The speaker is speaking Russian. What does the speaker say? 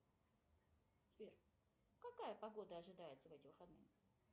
сбер какая погода ожидается в эти выходные